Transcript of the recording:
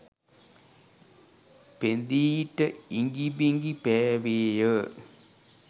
පෙඳී ට ඉඟි බිඟි පෑවේය